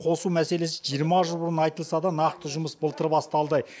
қосу мәселесі жиырма жыл бұрын айтылса да нақты жұмыс былтыр басталды